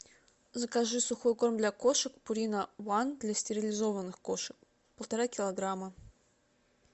закажи сухой корм для кошек пурина ван для стерилизованных кошек полтора килограмма